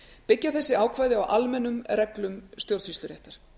byggja þessi ákvæði á almennum reglum stjórnsýsluréttar